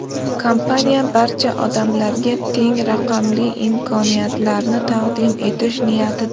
Kompaniya barcha odamlarga teng raqamli imkoniyatlarni taqdim etish niyatida.